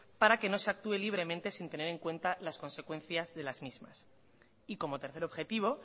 para que no se actúe libremente sin tener en cuenta las consecuencias de las mismas y como tercer objetivo